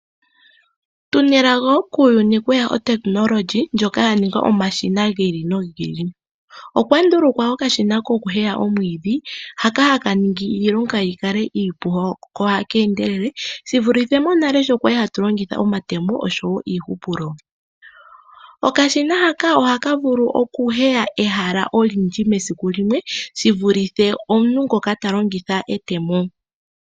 Tuna elago tweya muuyuna wuna otekinologi yoku nduluka omashina giili no giili. Okwa ndulukwa okashina koku heya omwidhi, hooa haka ningi iilonga yi kale iipu ko otaka endelele, shi vulithe monale shoka kwalu hatu longitha omatemo osho wo iihupulo. Okashina haka ohaka vulu oku heya ehala olindji mesiku limwe, shi vulithe omuntu ngoka ta longitha etemo.